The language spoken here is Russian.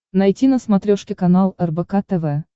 найти на смотрешке канал рбк тв